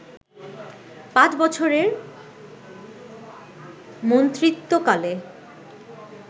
পাঁচ বছরের মন্ত্রিত্বকালে